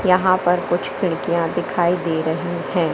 यहां पर कुछ खिड़कियां दिखाई दे रही हैं।